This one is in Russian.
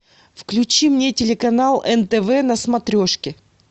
включи мне телеканал нтв на смотрешке